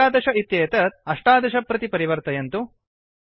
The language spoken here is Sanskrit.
११ इत्येतत् १७ प्रति परिवर्तयन्तु